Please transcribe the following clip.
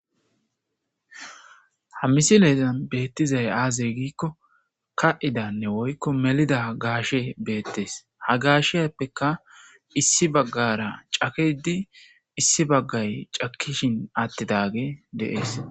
Ha misilezan bettizay aze gizayssa gikko kaxxidanne woyko melidda gashe bettes.ha gasheyappeka issi bagara cakkidi issi bagay cakkishin attidafey bettes.